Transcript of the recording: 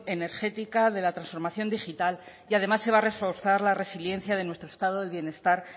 energética de la transformación digital y además se va a reforzar la resiliencia de nuestro estado de bienestar